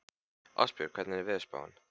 Ástbjörn, hvernig er veðurspáin?